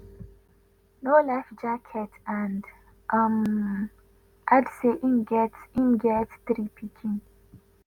no life jacket and um add say im get im get three pikin